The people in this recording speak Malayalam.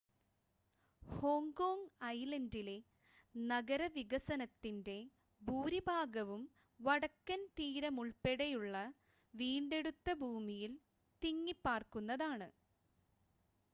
ഹോങ്കോങ്ങ് ഐലൻ്റിലെ നഗരവികസനത്തിൻ്റെ ഭൂരിഭാഗവും വടക്കൻ തീരമുൾപ്പടെയുള്ള വീണ്ടെടുത്ത ഭൂമിയിൽ തിങ്ങിപ്പാർക്കുന്നതാണ്